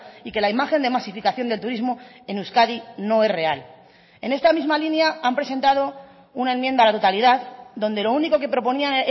y que la imagen de masificación del turismo en euskadi no es real en esta misma línea han presentado una enmienda a la totalidad donde lo único que proponían